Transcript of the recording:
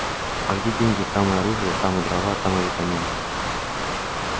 а где деньги там и оружие там и дрова и витамины